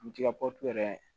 Misigɛntɔ yɛrɛ